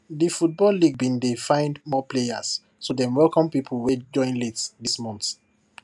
de football league been dey find more players so dem welcome people wey join late this month